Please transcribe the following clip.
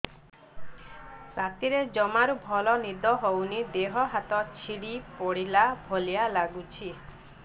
ରାତିରେ ଜମାରୁ ଭଲ ନିଦ ହଉନି ଦେହ ହାତ ଛିଡି ପଡିଲା ଭଳିଆ ଲାଗୁଚି